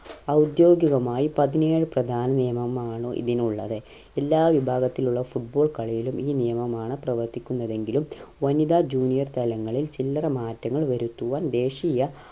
ഔദ്യോഗികമായി പതിനേഴ് പ്രധാന നിയമമാണോ ഇതിനുള്ളത് എല്ലാ വിഭാഗത്തിലുള്ള football കളിയിലും ഈ നിയമമാണ് പ്രവർത്തിക്കുന്നത് എങ്കിലും വനിതാ junior തലങ്ങളിൽ ചില്ലറ മാറ്റങ്ങൾ വരുത്തുവാൻ ദേശീയ